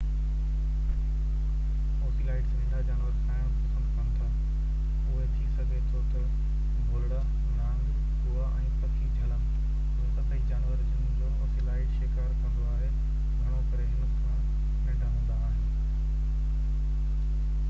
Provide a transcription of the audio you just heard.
ocelots ننڍا جانور کائڻ پسند ڪن ٿا اهي ٿي سگهي ٿو تہ ڀولڙا نانگ ڪوئا ۽ پکي جهلن اهي سڀئي جانور جن جو اوسيلاٽ شڪار ڪندو آهي گهڻو ڪري هن کان ننڍا هوندا آهن